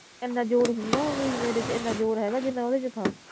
ਇਹਨਾਂ ਜ਼ੋਰ ਹੁੰਦਾ ਓਵੀ ਮੇਰੇ ਚ ਇਹਨਾਂ ਜ਼ੋਰ ਹੇਗਾ ਜਿਨ੍ਹਾਂ ਓਦੇ ਚ ਥਾ